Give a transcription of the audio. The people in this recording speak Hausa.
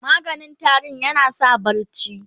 maganin tarinya na sa barci